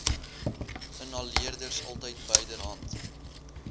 inhaleerders altyd byderhand